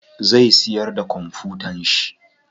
Zai siyar da kwamfutan shi.